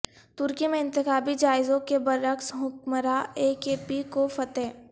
ترکی میں انتخابی جائزوں کے بر عکس حکمراں اے کے پی کو فتح